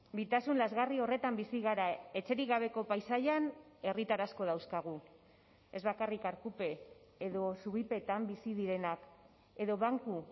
bitasun lazgarri horretan bizi gara etxerik gabeko paisaian herritar asko dauzkagu ez bakarrik arkupe edo zubipetan bizi direnak edo banku